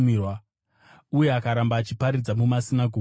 Uye akaramba achiparidza mumasinagoge eJudhea.